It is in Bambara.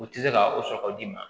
U tɛ se ka o sɔrɔ d'i ma